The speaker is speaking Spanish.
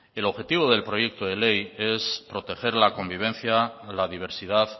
el objetivo del proyecto de ley es proteger la convivencia la diversidad